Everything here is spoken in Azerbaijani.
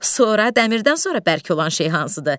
Sonra dəmirdən sonra bərk olan şey hansıdır?